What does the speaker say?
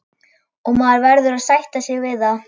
Og maður verður að sætta sig við það.